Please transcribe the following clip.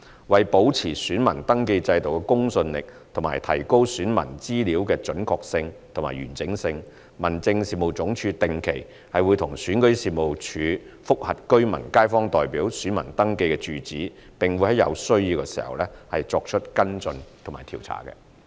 為保持選民登記制度的公信力及提高選民資料的準確性及完整性，民政事務總署定期與選舉事務處覆核居民/街坊代表選民登記住址，並會在有需要時作出跟進調查。